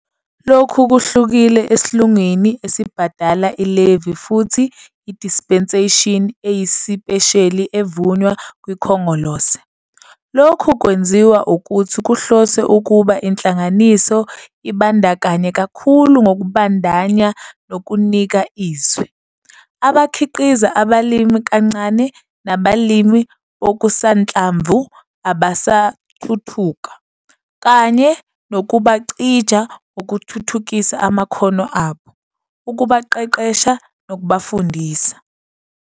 Lokhu kuhlukile elungwini elibhadala i-levy futhi yi-dispensation eyisipesheli evunywa kwiKhongolose. Lokhu kwenziwa ukuthi kuhloswe ukuba inhlangano ibandakanye kakhulu ngokubandanya nokunika izwi, abakhiqiza abalima kancane nabalimi bokusanhlamvu abasathuthuka, kanye nokubacija ngokuthuthukisa amakhono abo, ukubaqeqesha nokubafundisa.